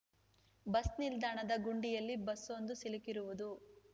bus ನಿಲ್ದಾಣದ ಗುಂಡಿಯಲ್ಲಿ ಬಸ್‌ವೊಂದು ಸಿಲುಕಿರುವುದು